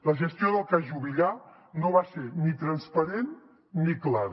la gestió del cas juvillà no va ser ni transparent ni clara